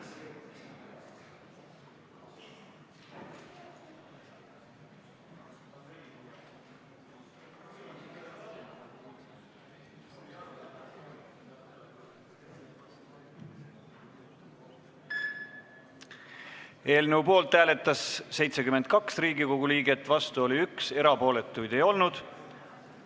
Hääletustulemused Eelnõu poolt hääletas 72 Riigikogu liiget, vastu oli 1, erapooletuid ei olnud.